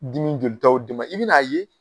Dimi bɛ i bɛn'a ye.